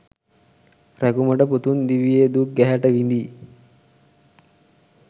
රැකුමට පුතුන් දිවියේ දුක් ගැහැට විදි